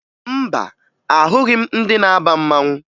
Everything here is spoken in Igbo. Mba, ahụghị m ndị na-aba mmanwụ